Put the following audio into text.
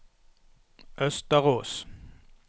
Østerås